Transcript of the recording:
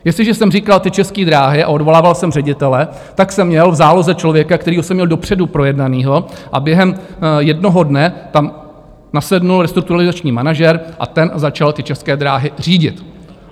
Jestliže jsem říkal ty České dráhy a odvolával jsem ředitele, tak jsem měl v záloze člověka, kterého jsem měl dopředu projednaného, a během jednoho dne tam nasedl restrukturalizační manažer a ten začal ty České dráhy řídit.